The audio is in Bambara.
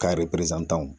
Ka